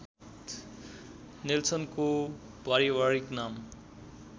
नेल्सनको पारिवारिक नाम